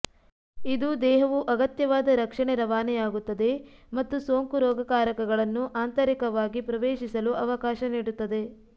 ಇದು ದೇಹವು ಅಗತ್ಯವಾದ ರಕ್ಷಣೆ ರವಾನೆಯಾಗುತ್ತದೆ ಮತ್ತು ಸೋಂಕು ರೋಗಕಾರಕಗಳನ್ನು ಆಂತರಿಕವಾಗಿ ಪ್ರವೇಶಿಸಲು ಅವಕಾಶ ನೀಡುತ್ತದೆ